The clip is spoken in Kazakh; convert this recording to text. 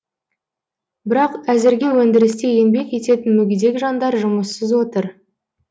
бірақ әзірге өндірісте еңбек ететін мүгедек жандар жұмыссыз отыр